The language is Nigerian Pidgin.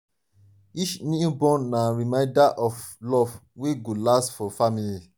each newborn na reminder of love wey go last for family.